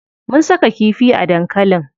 Mun saka kifi a dankalin.